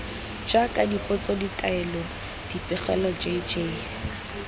jaaka dipotso ditaelo dipegelo jj